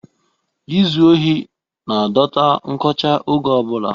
izu ohi na-adọta nkọcha oge ọ bụla